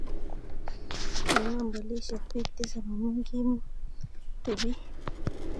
Kinam polisiek bik tisab amu kimuti bik .